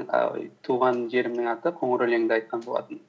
і ой туған жерімнің аты қоңырөлеңді айтқан болатынмын